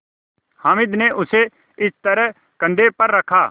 हामिद ने उसे इस तरह कंधे पर रखा